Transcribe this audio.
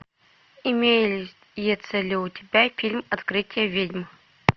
имеется ли у тебя фильм открытия ведьм